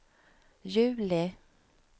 juli